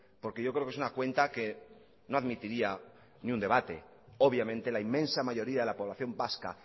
porque yo creo que es una cuenta que no admitiría ni un debate obviamente la inmensa mayoría de la población vasca